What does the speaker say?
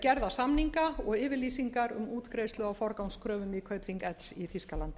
gerða samninga og yfirlýsingar um útgreiðslu á forgangskröfum í kaupþing l í þýskalandi